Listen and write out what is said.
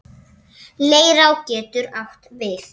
Leirá getur átt við